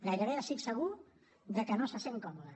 gairebé estic segur que no se sent còmode